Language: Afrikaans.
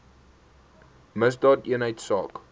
misdaadeenheidsaak